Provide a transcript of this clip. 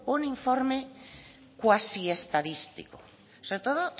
un informe cuasi estadístico sobre todo